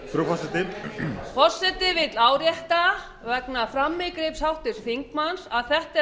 frú forseti aftur forseti vill árétta vegna frammíkalls háttvirts þingmanns að þetta er